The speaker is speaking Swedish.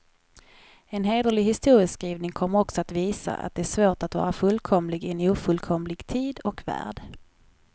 En hederlig historieskrivning kommer också visa, att det är svårt att vara fullkomlig i en ofullkomlig tid och värld.